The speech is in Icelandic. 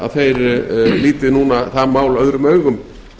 að þeir líti núna það mál öðrum augum